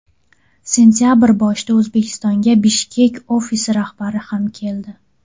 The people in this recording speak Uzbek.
Sentabr boshida O‘zbekistonga Bishkek ofisi rahbari ham keldi.